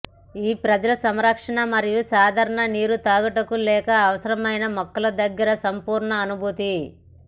ఈ ప్రజలు సంరక్షణ మరియు సాధారణ నీరు త్రాగుటకు లేక అవసరమైన మొక్కలు దగ్గరగా సంపూర్ణ అనుభూతి